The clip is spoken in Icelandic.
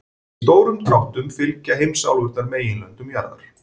Í stórum dráttum fylgja heimsálfurnar meginlöndum jarðar.